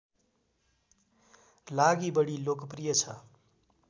लागि बढी लोकप्रिय छ